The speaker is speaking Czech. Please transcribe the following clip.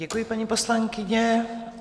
Děkuji, paní poslankyně.